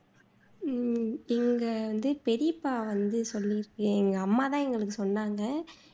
உம் இங்க வது பெரியப்பா வந்து சொல்லிருக்கு எங்க அம்மா தான் எங்களுக்கு சொன்னாங்க